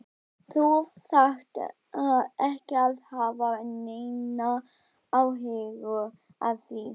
Þú þarft ekki að hafa neinar áhyggjur af því.